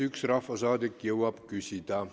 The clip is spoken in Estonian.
Üks rahvasaadik jõuab veel küsida.